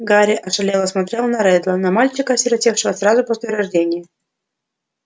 гарри ошалело смотрел на реддла на мальчика осиротевшего сразу после рождения